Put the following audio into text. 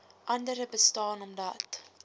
andere bestaan omdat